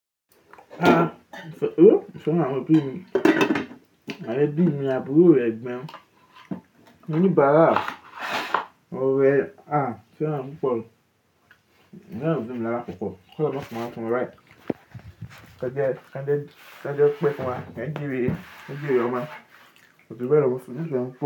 À, ìfẹ́ ọmọ bí mi àti ẹbí mi, àbúrò, ẹ̀gbọ́n, oníbàárà, ọ̀rẹ́ a, ṣé wọn púpọ̀. Fẹ́ràn àwọn òbí mi lála kọ́kọ́, kí wọ́n tó fún wa fún mí la. Kẹ jẹ, kí ẹ jẹ́, kí ẹ jẹ́ ó pẹ́ fún wa, kí ẹ jèrè, ẹ jèrè ọmọ, kò ju bẹ lọ mo sì nílò.